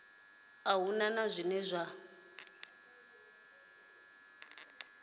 a hu na zwine zwa